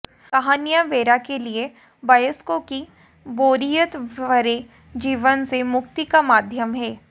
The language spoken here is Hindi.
कहानियां वेरा के लिए वयस्कों की बोरियत भरे जीवन से मुक्ति का माध्यम है